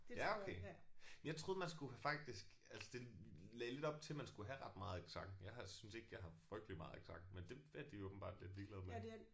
Ja okay. Men jeg troede man skulle faktisk altså det lagde lidt op til man skulle have ret meget accent. Jeg har synes ikke jeg har frygtelig meget accent men det er de åbenbart lidt ligeglade med